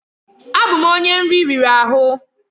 Abụ m onye nri riri ahụ.